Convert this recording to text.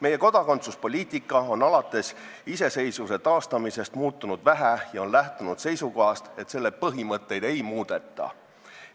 Meie kodakondsuspoliitika on alates iseseisvuse taastamisest vähe muutunud ja lähtunud seisukohast, et selle põhimõtteid ei muudeta.